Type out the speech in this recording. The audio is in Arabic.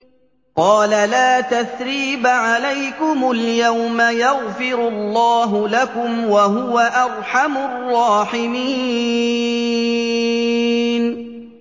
قَالَ لَا تَثْرِيبَ عَلَيْكُمُ الْيَوْمَ ۖ يَغْفِرُ اللَّهُ لَكُمْ ۖ وَهُوَ أَرْحَمُ الرَّاحِمِينَ